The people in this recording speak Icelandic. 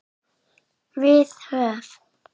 Við höf